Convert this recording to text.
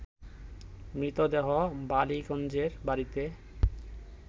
মৃতদেহ বালিগঞ্জের বাড়িতে